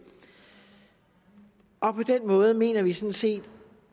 og på den måde mener vi sådan set